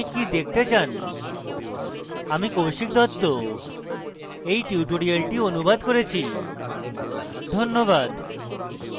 আমি কৌশিক দত্ত এই টিউটোরিয়ালটি অনুবাদ করেছি ধন্যবাদ